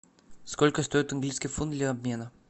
сколько стоит английский фунт для обмена